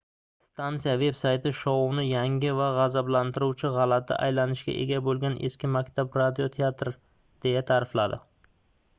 stansiya veb-sayti shouni yangi va gʻazablantiruvchi gʻalati aylanishga ega boʻlgan eski maktab radio teatri deya taʼrifladi